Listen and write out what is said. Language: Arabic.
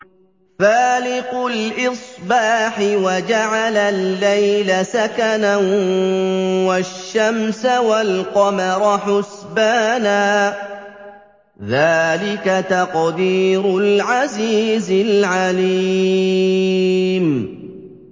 فَالِقُ الْإِصْبَاحِ وَجَعَلَ اللَّيْلَ سَكَنًا وَالشَّمْسَ وَالْقَمَرَ حُسْبَانًا ۚ ذَٰلِكَ تَقْدِيرُ الْعَزِيزِ الْعَلِيمِ